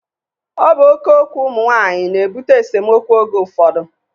Ọ bụ oké okwu ụmụ nwaanyị na-ebute esemokwu oge ụfọdụ